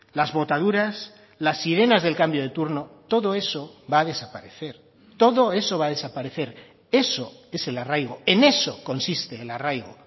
las botaduras las sirenas del cambio de turno todo eso va a desaparecer todo eso va a desaparecer eso es el arraigo en eso consiste el arraigo